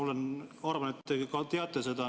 Ma arvan, et te ka teate seda.